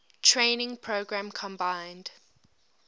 training program combined